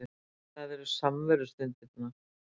Það eru samverustundirnar